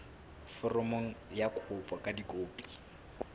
foromo ya kopo ka dikopi